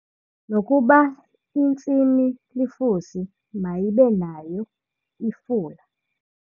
Nokuba intsimi lifusi mayibe nayo ifula.